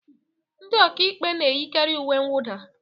Ndi ọka ikpe n'eyikari uwe nwụda.